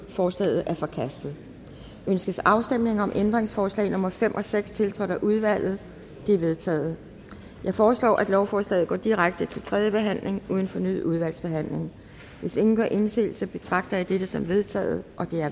forslaget er forkastet ønskes afstemning om ændringsforslag nummer fem og seks tiltrådt af udvalget det er vedtaget jeg foreslår at lovforslaget går direkte til tredje behandling uden fornyet udvalgsbehandling hvis ingen gør indsigelse betragter jeg dette som vedtaget